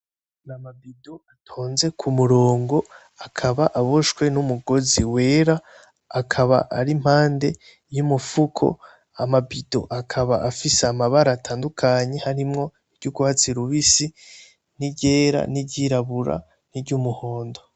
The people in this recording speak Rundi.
Namabido atonze ku mirongo akaba aboshwe n'umugozi wera akaba ari impande y'umufuko, amabido akaba afise amabara atandukanye harimwo iry'urwatsi rubisi n'iryera n'iryirabura n'iryumuhondo.